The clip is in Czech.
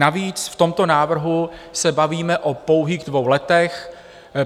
Navíc v tomto návrhu se bavíme o pouhých dvou letech.